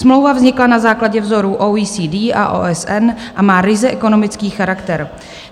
Smlouva vznikla na základě vzorů OECD a OSN a má ryze ekonomický charakter.